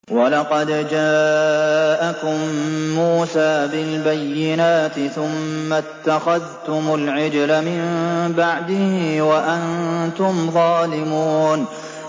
۞ وَلَقَدْ جَاءَكُم مُّوسَىٰ بِالْبَيِّنَاتِ ثُمَّ اتَّخَذْتُمُ الْعِجْلَ مِن بَعْدِهِ وَأَنتُمْ ظَالِمُونَ